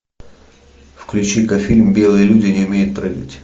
включи ка фильм белые люди не умеют прыгать